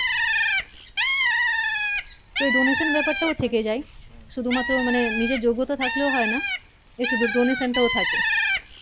তো এই Donation ব্যাপার টা ও থেকে যায় শুধু মাত্র মানে নিজের যোগ্যতা থাকলেও হয় না একটু Donation টা থাকে